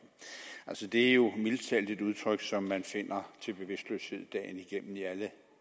sige at det jo mildest talt er et udtryk som man finder til bevidstløshed dagen igennem i alle